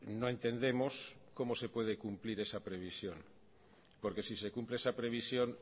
no entendemos cómo se puede cumplir esa previsión porque si se cumple esa previsión